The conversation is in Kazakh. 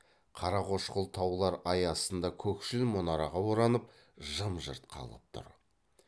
қарақошқыл таулар ай астында көкшіл мұнараға оранып жым жырт қалғып тұр